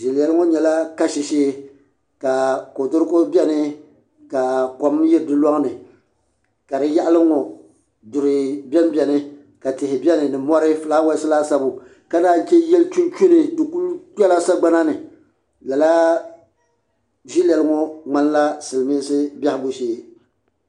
Ʒiliɛl ŋɔ nyɛla kashi shee ka kodoruko bɛni ka kɔm yiri di lɔŋ ni ka di yaɣali n ŋɔ ka duri bɛ n bɛni ka tihi bɛni ni mɔri filaawaas laasabu ka naan yi che yili chunchuni di ku kpela sagbana ni lala ʒiliɛl ŋɔ ŋmani la silmiinsi biɛhigu shee.